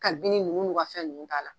Kabini nunnu y'u ka fɛn nunnu k'a la